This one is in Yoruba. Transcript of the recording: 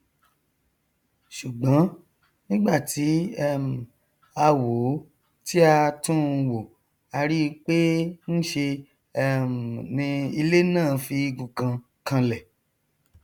ṣùgbọn nígbà tí um a wòó tí a túnun wò a ríi pé nṣe um ni ilé náà fi igun kan kanlẹ